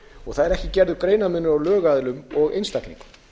og það er ekki gerður greinarmunur á lögaðilum og einstaklingum